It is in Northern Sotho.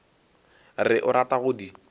re o rata go di